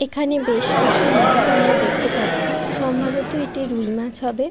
এখানে বেশ কিছু মাছ আমরা দেখতে পাচ্ছি সম্ভবত এটি রুই মাছ হবে।